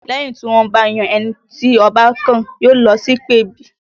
Lẹ́yìn tí wọ́n bá ti yan ẹni tí Ọba kàn, yóò lọ sí ìpèbí